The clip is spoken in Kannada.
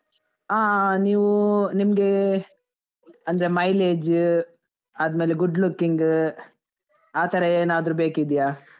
ಹಾ ನೀವು, ನಿಮ್ಗೆ ಅಂದ್ರೆ mileage ಆದ್ಮೇಲೆ good looking ಆ ಥರ ಏನಾದ್ದ್ರೂ ಬೇಕಿದ್ಯಾ?